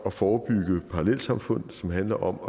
at forebygge parallelsamfund som handler om